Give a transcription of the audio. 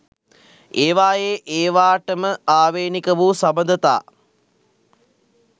ඒවායේ ඒවාටම ආවේණික වූ සබඳතා